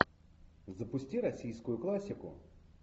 запусти российскую классику